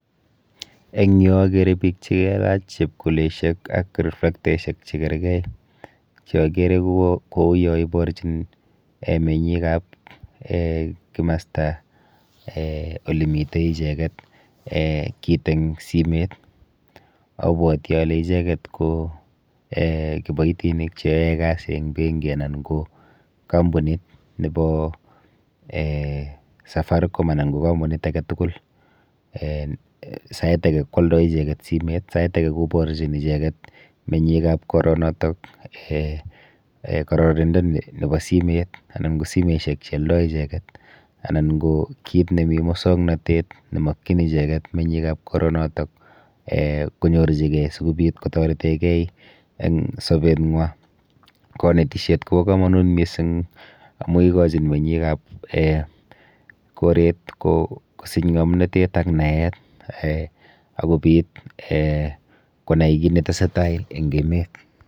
Eng yu akere biik chikelach chepkuleshek ak riflektaishek chikerkei cheakere kouyo iborchin um menyikap um kimasta[um] olemite icheket um kit eng simet. Abwoti ale icheket ko um kiboitinik cheyoe kasi eng benki anan ko kampunit nepo um safaricom anan ko kampunit aketukul. um Sait ake kwoldoi icheket simet, sait ake koporchin icheket menyikap koronoto um kororindo nepo simet anan ko simeshek chealdoi icheket anan ko kit nemi mosoknotet nemokchin icheket menyikap koronoto um konyorchikei sikobit kotoretekei eng sobeng'wa. Kanetishet kopo komonut mising amu ikochin menyikap [um]koret kosich ng'omnatet ak naet um ak kobit um konai kit netesetai eng emet.